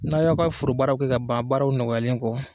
N' a y'aw ka forobaaraw kɛ ka ban baaraw nɔgɔalen kɔ